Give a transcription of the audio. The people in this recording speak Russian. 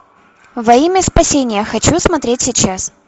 во имя спасения хочу смотреть сейчас